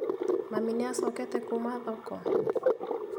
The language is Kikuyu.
Mami nĩacokete kuma thoko?